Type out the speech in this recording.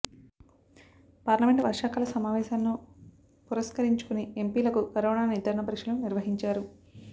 parliament వర్షాకాల సమావేశాలను పురస్కరించుకొని ఎంపీలకు కరోనా నిర్ధారణ పరీక్షలు నిర్వహించారు